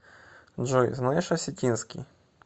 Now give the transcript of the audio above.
джой знаешь осетинский